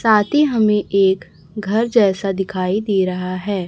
साथ ही हमें एक घर जैसा दिखाई दे रहा है।